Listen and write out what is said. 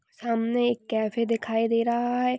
सामने एक कैफ़े दिखाई दे रहा है।